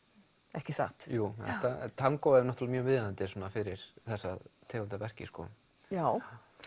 ekki satt jú tangó er mjög viðeigandi fyrir þessa tegund af verki já